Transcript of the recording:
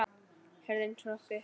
Hurðin hrökk upp!